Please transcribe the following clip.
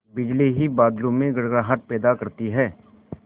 बिजली ही बादलों में गड़गड़ाहट पैदा करती है